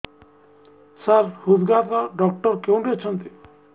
ସାର ହୃଦଘାତ ଡକ୍ଟର କେଉଁଠି ଅଛନ୍ତି